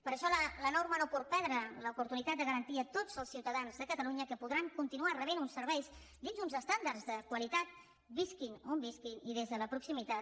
per això la norma no pot perdre l’oportunitat de garantir a tots els ciutadans de catalunya que podran continuar rebent uns serveis dins d’uns estàndards de qualitat visquin on visquin i des de la proximitat